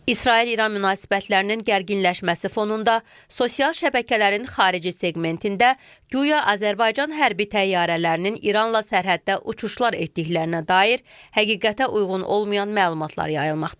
İsrail-İran münasibətlərinin gərginləşməsi fonunda sosial şəbəkələrin xarici seqmentində guya Azərbaycan hərbi təyyarələrinin İranla sərhəddə uçuşlar etdiklərinə dair həqiqətə uyğun olmayan məlumatlar yayılmaqdadır.